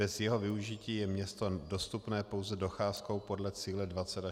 Bez jeho využití je město dostupné pouze docházkou podle cíle 20 až 25 minut.